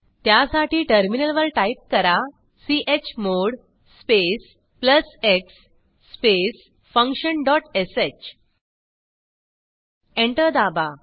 त्यासाठी टर्मिनल वर टाईप करा chmod space plus x space function dot sh enter दाबा